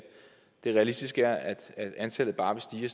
det realistiske er at at antallet bare vil stige